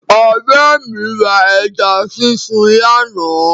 Ọ̀rẹ́ mi ra ẹja sísun lánàá.